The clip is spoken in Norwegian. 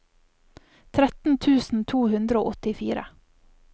tretten tusen to hundre og åttifire